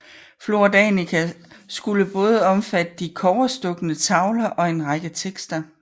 Flora Danica skulle både omfatte de kobberstukne tavler og en række tekster